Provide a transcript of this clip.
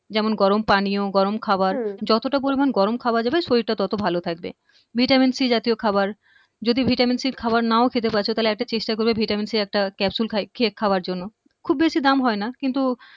যেমন গরম পানিয় গরম খাবার হম যতটা পরিমাণ গরম খাওয়া যাবে শরীরটা তত ভালো থাকবে ভিটামিন সি জাতীয় খাবার যদি ভিটামিন সি খাওয়ার নাও খেতে পারছো তাহলে একটা চেষ্টা করবে ভিটামিন সি এর একটা capsule খাই খেয়ে খাওয়ার জন্য খুব বেশি দাম হয়না কিন্তু